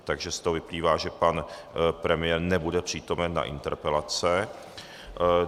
Takže z toho vyplývá, že pan premiér nebude přítomen na interpelace.